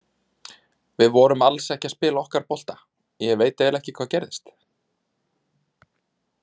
Við vorum alls ekki að spila okkar bolta, ég veit eiginlega ekki hvað gerðist.